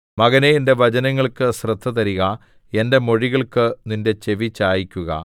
മകനേ എന്റെ വചനങ്ങൾക്ക് ശ്രദ്ധതരിക എന്റെ മൊഴികൾക്ക് നിന്റെ ചെവിചായിക്കുക